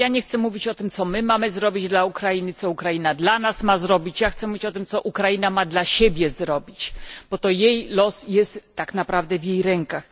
Ja nie chcę mówić o tym, co my mamy zrobić dla Ukrainy, co Ukraina dla nas ma zrobić, ja chcę mówić o tym, co Ukraina ma dla siebie zrobić, bo jej los jest tak naprawdę w jej rękach.